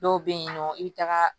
Dɔw bɛ yen nɔ i bɛ taga